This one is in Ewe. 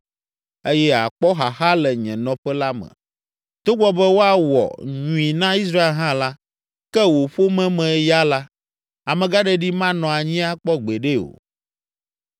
eye àkpɔ xaxa le nye nɔƒe la me. Togbɔ be woawɔ nyui na Israel hã la, ke wò ƒome me ya la, amegãɖeɖi manɔ anyi akpɔ gbeɖe o.